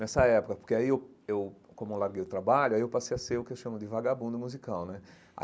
Nessa época, porque aí eu eu, como eu larguei o trabalho, aí eu passei a ser o que eu chamo de vagabundo musical, né?